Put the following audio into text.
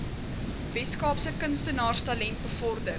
weskaapse kunstenaarstalent bevorder